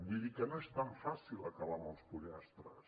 vull dir que no és tan fàcil acabar amb els pollastres